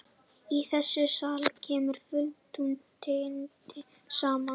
Í þessum sal kemur fulltrúadeildin saman.